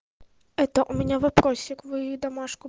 это у меня вопросик вы домашку